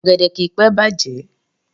Ọ̀gẹ̀dẹ̀ kìí pé bàjẹ́